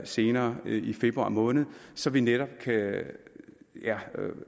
senere i februar måned så vi netop kan